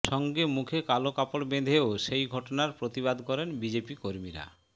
সঙ্গে মুখে কালো কাপড় বেঁধেও সেই ঘটনার প্রতিবাদ করেন বিজেপি কর্মীরা